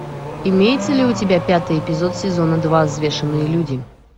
имеется ли у тебя пятый эпизод сезона два взвешенные люди